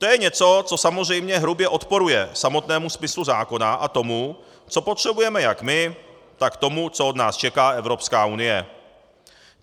To je něco, co samozřejmě hrubě odporuje samotnému smyslu zákona a tomu, co potřebujeme jak my, tak tomu, co od nás čeká Evropská unie.